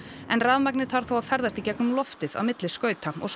en rafmagnið þarf þá að ferðast í gegn um loftið á milli skauta og